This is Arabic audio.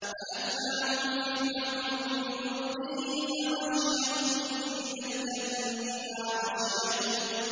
فَأَتْبَعَهُمْ فِرْعَوْنُ بِجُنُودِهِ فَغَشِيَهُم مِّنَ الْيَمِّ مَا غَشِيَهُمْ